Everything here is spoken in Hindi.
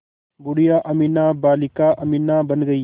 बूढ़िया अमीना बालिका अमीना बन गईं